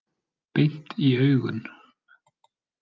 Beint í augun.